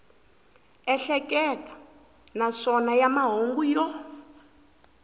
ehleketa naswona ya mahungu yo